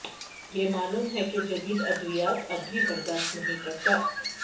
یہ معلوم ہے کہ جدید ادویات اب بھی برداشت نہیں کرتا